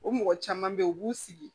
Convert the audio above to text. O mɔgɔ caman be yen u b'u sigi